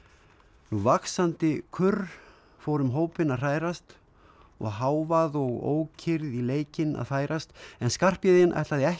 nú vaxandi kurr fór um hópinn að hrærast og hávaði og ókyrrð í leikinn að færast en Skarphéðin ætlaði ekki